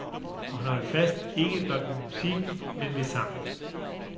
Og han holdt fast, ikke blot ved musikken men ved sangen.